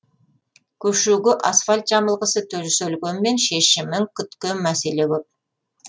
көшеге асфальт жамылғысы төселгенмен шешімін күткен мәселе көп